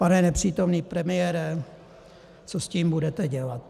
Pane nepřítomný premiére, co s tím budete dělat?